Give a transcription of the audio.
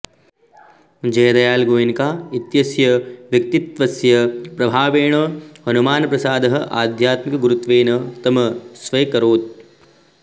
जयदयाल गोएन्का इत्यस्य व्यक्तित्वस्य प्रभावेण हनुमानप्रसादः आध्यात्मिकगुरुत्वेन तम् स्व्यकरोत्